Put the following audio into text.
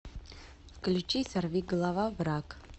включи сорвиголова враг